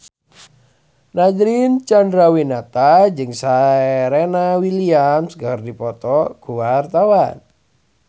Nadine Chandrawinata jeung Serena Williams keur dipoto ku wartawan